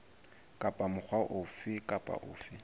kapa mokga ofe kapa ofe